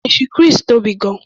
Ọgbà ẹṣin Chris tóbi gan-an